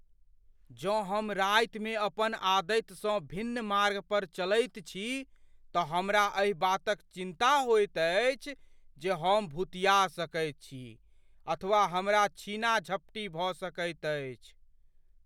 जँ हम रातिमे अपन आदतिसँ भिन्न मार्ग पर चलैत छी तऽ हमरा एहि बातक चिन्ता होइत अछि जे हम भुतिया सकैत छी अथवा हमरा छीना झपटी भऽ सकैत अछि।